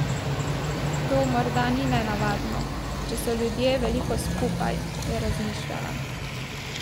To morda ni nenavadno, če so ljudje veliko skupaj, je razmišljala.